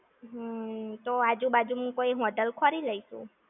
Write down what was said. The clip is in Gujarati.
હમ્મ. તો આજુ બાજુ માં કોઈ hotel ખોરી લઈશું!